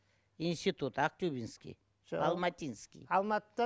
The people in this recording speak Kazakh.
институт актюбинский алматинский алматыдан